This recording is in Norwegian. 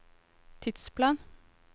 tidsplan